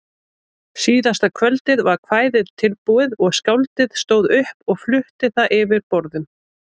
Næsta morgun gekk hann á fund íslenska utanríkisráðherrans og endursagði staðhæfingar lautinantsins lið fyrir lið.